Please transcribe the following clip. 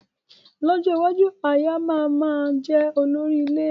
Lọ́jọ́ iwájú, aya má máa jẹ olórí ilé